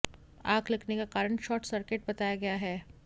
आग लगने का कारण शॉर्ट सर्किट बताया गया है